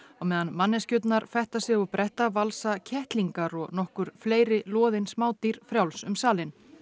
á meðan manneskjurnar fetta sig og bretta valsa kettlingar og nokkur fleiri loðin frjáls um salinn